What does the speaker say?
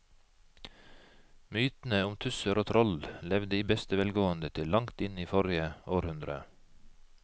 Mytene om tusser og troll levde i beste velgående til langt inn i forrige århundre.